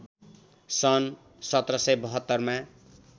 सन् १७७२ मा